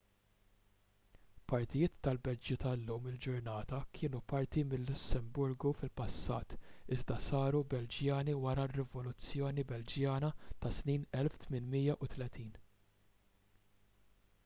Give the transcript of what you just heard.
partijiet tal-belġju tal-lum il-ġurnata kienu parti mil-lussemburgu fil-passat iżda saru belġjani wara r-rivoluzzjoni belġjana tas-snin 1830